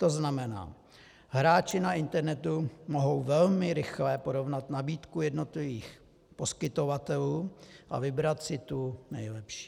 To znamená, hráči na internetu mohou velmi rychle porovnat nabídku jednotlivých poskytovatelů a vybrat si tu nejlepší.